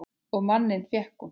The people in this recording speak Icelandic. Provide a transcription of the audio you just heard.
Og manninn fékk hún.